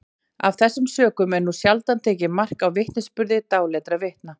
af þessum sökum er nú sjaldan tekið mark á vitnisburði dáleiddra vitna